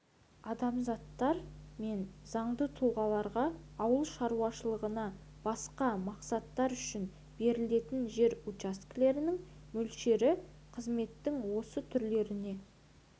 азаматтар мен заңды тұлғаларға ауыл шаруашылығынан басқа мақсаттар үшін берілетін жер учаскелерінің мөлшері қызметтің осы түрлеріне